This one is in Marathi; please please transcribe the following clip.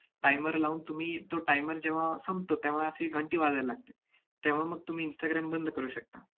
timer लावून तुम्ही तो timer जेव्हा संपतो, तेव्हा अशी घंटी वाजायला लागते. तेव्हा मग तुम्ही instagram बंद करू शकता.